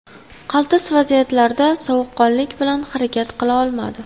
Qaltis vaziyatlarda sovuqqonlik bilan harakat qila olmadi.